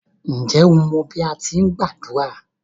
Ǹjẹ́ o mọ bí à á ti gbàdúrà?